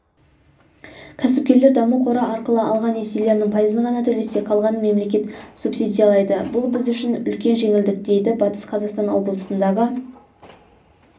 кәсіпкерлер даму қоры арқылы алған несиелерінің пайызын ғана төлесе қалғанын мемлекет субсидиялайды бұл біз үшін үлкен жеңілдік дейді батыс қазақстан облысындағы